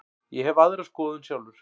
Ég hef aðra skoðun sjálfur.